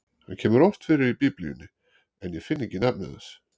Hann kemur oft fyrir í Biblíunni, en ég finn ekki nafnið hans.